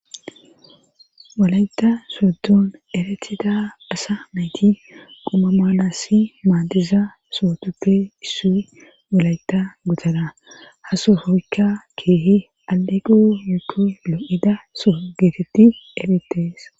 wolayeta sooddon eretida dasa mayti quma maalasi maadiza sootuppe issi wolayeta gutana ha sohoykka keehi aliqu yukko lo7ida soo geetetti erettees